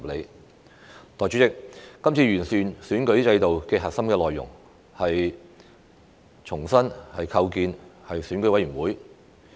代理主席，今次完善選舉制度的核心內容，是重新構建選委會。